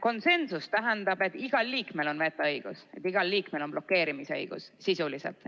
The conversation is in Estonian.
Konsensus tähendab, et igal liikmel on vetoõigus, igal liikmel on blokeerimise õigus, sisuliselt.